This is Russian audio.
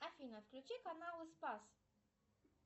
афина включи канал спас